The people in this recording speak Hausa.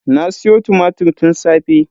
Na siyo tumatir tun safe.